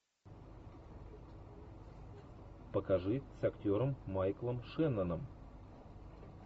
покажи с актером майклом шенноном